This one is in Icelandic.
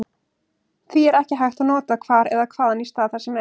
Því er ekki hægt að nota hvar eða hvaðan í stað þar sem.